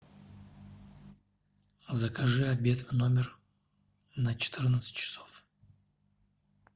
закажи обед в номер на четырнадцать часов